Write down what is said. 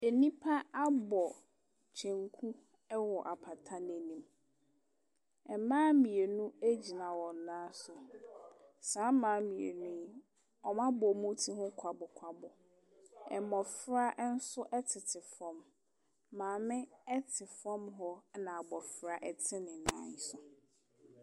Nnipa abɔ kyenku wɔ apata no anim. Mmaa mmienu gyina wɔn nan so. Saa mmaa mmienu yi, wɔabɔ wɔn tire ho kwabokwabo. Mmɔfra nso tete fam. Maame te fam hɔ, ana abɔfra te ne nan so.